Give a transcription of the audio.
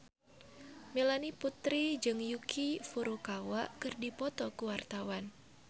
Melanie Putri jeung Yuki Furukawa keur dipoto ku wartawan